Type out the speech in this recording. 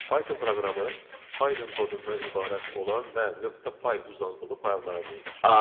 Python proqramı Python kodundan ibarət olan və .py uzantılı fayllara deyilir.